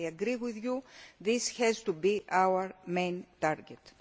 our focus. I agree with you that this has to be our main